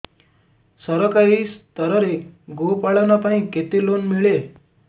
ସରକାରୀ ସ୍ତରରେ ଗୋ ପାଳନ ପାଇଁ କେତେ ଲୋନ୍ ମିଳେ